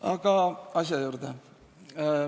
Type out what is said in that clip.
Aga asja juurde!